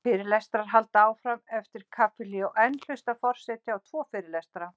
Fyrirlestrar halda áfram eftir kaffihlé og enn hlustar forseti á tvo fyrirlestra.